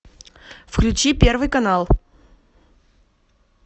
включи первый канал